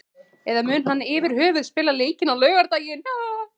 Eða mun hann yfirhöfuð spila leikinn á laugardag?